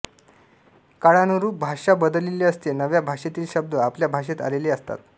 काळानुरूप भाषा बदललेली असते नव्या भाषेतील शब्द आपल्या भाषेत आलेले असतात